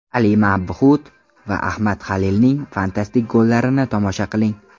Ali Mabhut va Ahmad Halilning fantastik gollarini tomosha qiling.